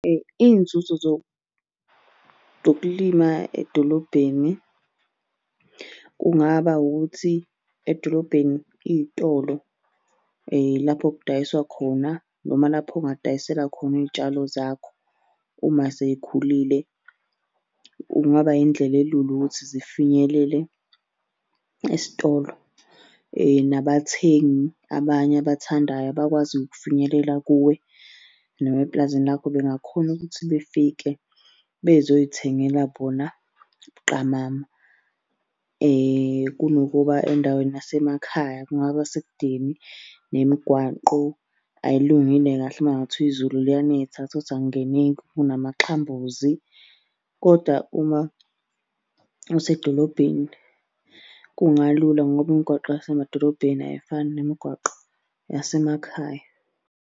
Iy'nzuzo zokulima edolobheni kungaba ukuthi edolobheni iy'tolo lapho kudayiswa khona noma lapho ongadayisela khona iy'tshalo zakho uma sey'khulile kungaba indlela elula ukuthi zifinyelele esitolo. Nabathengi abanye abathandayo abakwazi ukufinyelela kuwe, noma epulazini lakho bengakhona ukuthi befike bezoy'thengela bona buqamama. Kunokuba endaweni yasemakhaya kungaba sekudeni nemigwaqo ayilungile kahle uma kungathiwa izulu liyanetha uthole ukuthi akungeneki kunamaxhambuzi, kodwa uma usedolobheni kungalula ngoba imigwaqo yasemadolobheni ayifani nemigwaqo yasemakhaya.